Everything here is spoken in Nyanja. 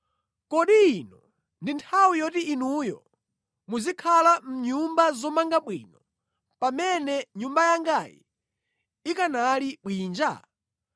“Kodi ino ndi nthawi yoti inuyo muzikhala mʼnyumba zomanga bwino, pamene Nyumba yangayi ikanali bwinja?”